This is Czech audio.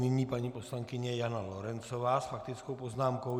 Nyní paní poslankyně Jana Lorencová s faktickou poznámkou.